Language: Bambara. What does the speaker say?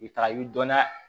I bɛ taga i bi dɔnna